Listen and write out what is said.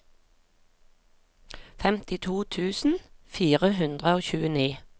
femtito tusen fire hundre og tjueni